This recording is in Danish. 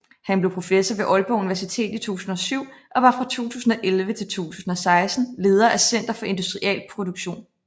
Han blev professor ved Aalborg Universitet i 2007 og var fra 2011 til 2016 leder af Center for Industrial Production